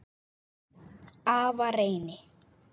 Afa Reyni.